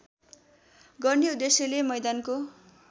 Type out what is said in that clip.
गर्ने उद्देश्यले मैदानको